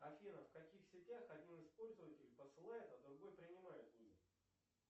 афина в каких сетях один из пользователей посылает а другой принимает вызов